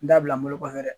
N da bila n bolo kɔfɛ dɛ